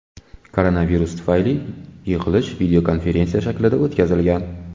Koronavirus tufayli yig‘ilish videokonferensiya shaklida o‘tkazilgan.